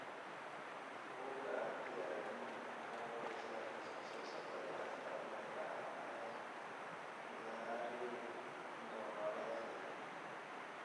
Bugga Aartiga Aadanaha waxay bixisaa liiska soo socda ee astamaha iyo calaamadaha Laryngomalacia.